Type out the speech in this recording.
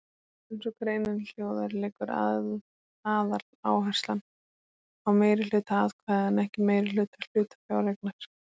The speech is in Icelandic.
Eins og greinin hljóðar liggur aðaláherslan á meirihluta atkvæða en ekki meirihluta hlutafjáreignar.